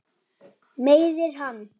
Í loftinu er ennþá ball.